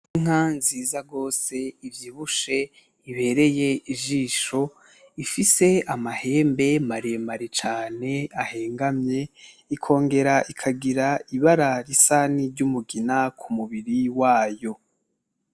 Inka nziza gose ivyibushe ibereye ijisho, ifise amahembe maremare cane ahengamye ikongera ikagira ibara risa ni ry'umugina k'umubiri wayo.